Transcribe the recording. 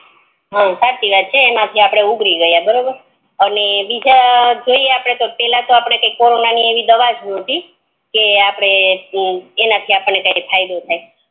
હચી વાત છે આપડે ઉઘરી ગ્યા બરોબર ને બીજા જોઈ તો આપડે પેલા કોરોના ની એવી કોઈ દવા જ નતી કે એના થી આપડે કોઈ ફાયદો થાય